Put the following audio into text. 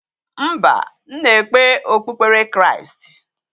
Mba, m na-ekpe okpukpere Kristi.